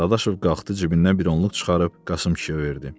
Dadaşov qalxdı cibindən bir onluq çıxarıb Qasım kişiyə verdi.